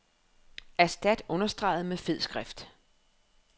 Erstat understreget med fed skrift.